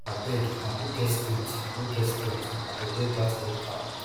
abeg i no get strength no get strength i go wear dat red gown